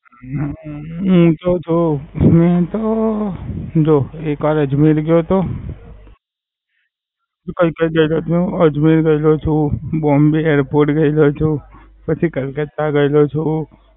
હમ હું તો જો હું તો જો એક વાર અજમેર ગયો તો. ક્યારેક ક્યારેક અજમેર ગયો છું, Bombay airport ગયેલો છું. પછી કલકત્તા ગયેલો છું.